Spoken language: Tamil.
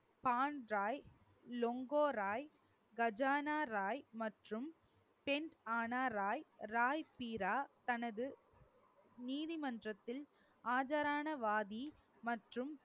பாண் ராய், லோங்கோ ராய், கஜானா ராய் மற்றும் பென்ரனா ராய், ராய்பீரா, தனது நீதிமன்றத்தில் ஆஜரான வாதி மற்றும்